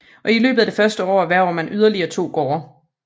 Og i løbet af det første år erhverver han yderligere 2 gårde